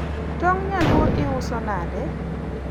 tong' nyaluo iuso nade?